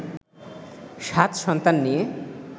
সাত সন্তান নিয়ে